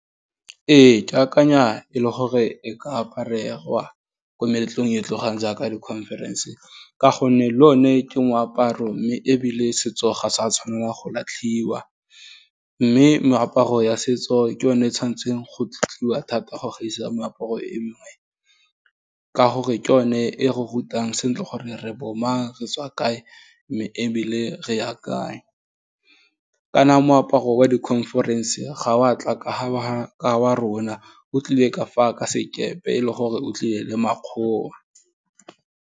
Ee, ke akanya e le gore e ka aparegwa, ko meletlong e e tlotlegang jaaka di conference ka gonne le o ne ke moaparo mme ebile setso ga sa tshwaneng go latlhiwa, mme meaparo ya setso ke yone e tshwantseng go tlotliwa thata go gaisa moaparo emengwe, ka gore ke one, e go rutang sentle gore re bomang, re tswa kae, mme ebile re ya kae, kana moaparo wa di conference-e, ga wa tla ka fa wa rona, o tlile ka fa ka sekepe e le gore o tlile le makgowa.